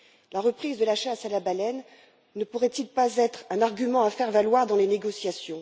La reprise de la chasse à la baleine ne pourrait elle pas être un argument à faire valoir dans les négociations?